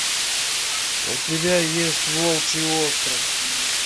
у тебя есть волчий остров